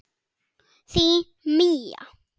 Þín Mía.